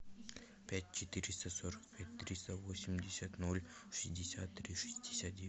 пять четыреста сорок пять триста восемьдесят ноль шестьдесят три шестьдесят девять